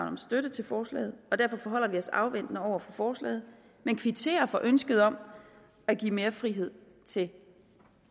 om støtte til forslaget og derfor forholder vi os afventende over for forslaget men kvitterer for ønsket om at give mere frihed til